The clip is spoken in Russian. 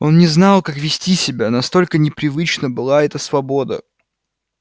он не знал как вести себя настолько непривычна была эта свобода